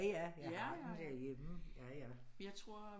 Ja ja nu bliver jeg helt hm ja ja